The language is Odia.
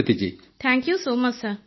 Preeti thank you so much sir